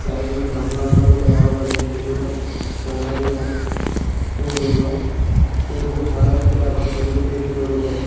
Side मे गमला उमला भी लगावल बा जेमे छोटा-छोटा पौधा भी बा फूल उल बा पेड़ बहुत हरा पूरा बा खजूर के पेड़ लउकता।